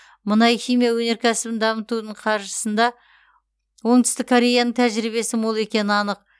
мұнай химия өнеркәсібін дамытудың қаржысында оңтүстік кореяның тәжірибесі мол екені анық